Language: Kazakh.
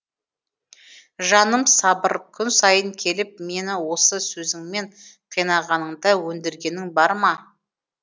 жаным сабыр күн сайын келіп мені осы сөзіңмен қинағаныңда өндіргенің бар ма